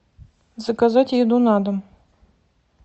заказать еду на дом